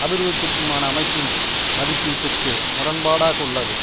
அபிர்விர்த்திற்க்குமான அமைப்பின் மதிப்பீட்டிற்கு முரண்பாடாக உள்ளது